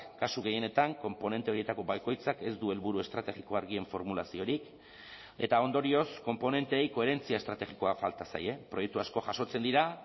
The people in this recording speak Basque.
kasu gehienetan konponente horietako bakoitzak ez du helburu estrategiko argien formulaziorik eta ondorioz konponenteei koherentzia estrategikoa falta zaie proiektu asko jasotzen dira